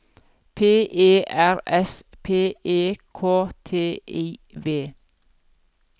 P E R S P E K T I V